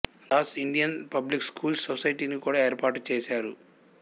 Das Indian public schools సొసైటిని కూడా ఏర్పాటు చేశారు